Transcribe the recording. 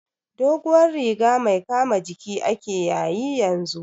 Doguwar riga mai kama jiki ake yayi yanzu